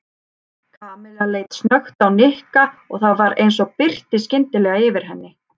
Kamilla leit snöggt á Nikka og það var eins og birti skyndilega yfir henni.